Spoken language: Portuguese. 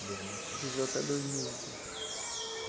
Dois mil e quatro. Viveu até dois mil, então.